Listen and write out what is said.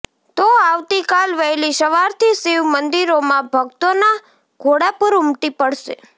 તો આવતીકાલ વહેલી સવારથી શિવ મંદિરોમાં ભક્તોના ઘોડાપુર ઉમટી પડશે